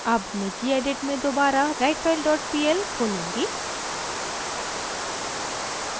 अब मैं gedit में दोबारा writefile dot pl खोलूँगी